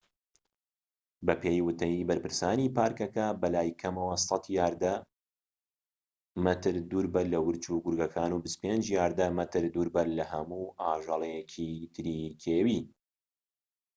بەپێی وتەی بەرپرسانی پاركەکە، بەلای کەمەوە ١٠٠ یاردە/مەتر دووربە لە ورچ و گورگەکان و ٢٥ یاردە/مەتر دووربە لە هەموو ئاژەڵێکی تری کێوی!